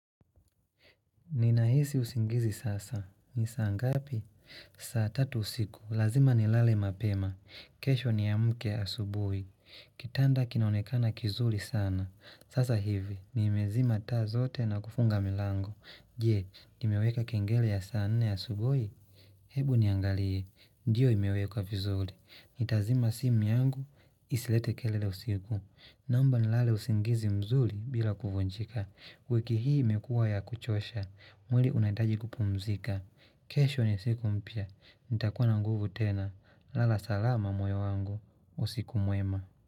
Ninahisi usingizi sasa. Ni saa ngapi? Saa tatu usiku. Lazima ni lale mapema. Kesho niamke asubui. Kitanda kinaonekana kizuli sana. Sasa hivi. Ni imezima taa zote na kufunga milango. Je, nimeweka kengele ya saa nne asubui? Hebu niangalie. Ndiyo imeweka vizuli. Itazima sim yangu. Isilete kelele usiku. Naomba nilale usingizi mzuli bila kuvunjika. Wiki hii mekuwa ya kuchosha mwili unataji kupumzika kesho ni siku mpya nitakuwa na nguvu tena lala salama moyo wangu usiku mwema.